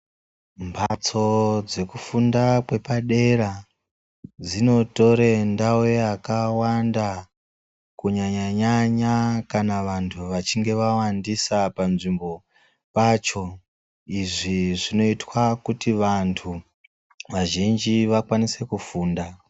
Mhatso dzekufunda kwepadera dzinotore ndau yakawanda Kunyanyanyanya kana vantu vachinge vawandisa panzvimbo pacho, izvi zvinoitwa kuti vantu vazhinji vakwanise kufunda.